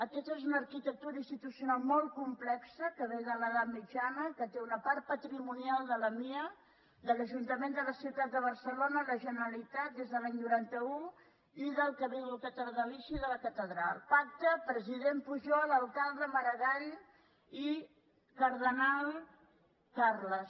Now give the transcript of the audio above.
aquesta és una arqui·tectura institucional molt complexa que ve de l’edat mitjana que té una part patrimonial de la mia de l’ajuntament de la ciutat de barcelona de la genera·litat des de l’any noranta un i del cabildo catedralici de la ca·tedral pacte president pujol alcalde maragall i car·denal carles